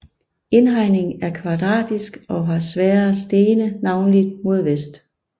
Indhegningen er Kvadratisk og har svære Stene navnlig mod Vest